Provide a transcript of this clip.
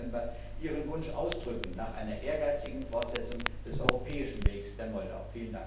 30. November ihren Wunsch ausdrücken nach einer ehrgeizigen Fortsetzung des europäischen Wegs der Republik Moldau.